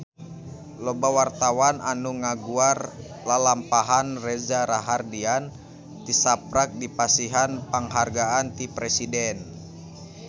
Loba wartawan anu ngaguar lalampahan Reza Rahardian tisaprak dipasihan panghargaan ti Presiden